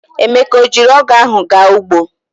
Emeka o jiri ogu ahu ga ugbo?